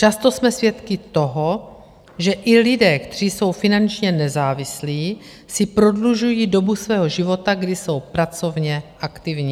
Často jsme svědky toho, že i lidé, kteří jsou finančně nezávislí, si prodlužují dobu svého života, kdy jsou pracovně aktivní.